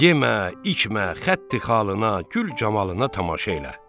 Yemə, içmə xətti-xalına, gül-camalına tamaşa elə.